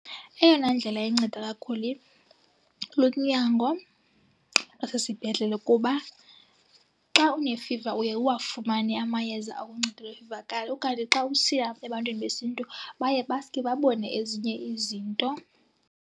Eyona ndlela inceda kakhulu lunyango lwasesibhedlele kuba xa unefiva uye uwafumane amayeza okunceda ifiva okanye xa usiya ebantwini besiNtu baye basuke babone ezinye izinto.